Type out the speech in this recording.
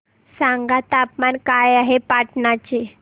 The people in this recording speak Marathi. सांगा तापमान काय आहे पाटणा चे